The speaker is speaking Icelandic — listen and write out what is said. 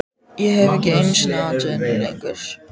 Ég hef ekki einu sinni atvinnu lengur